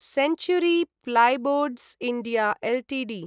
century plyboards India Ltd